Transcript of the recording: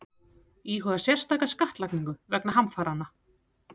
Íhuga sérstaka skattlagningu vegna hamfaranna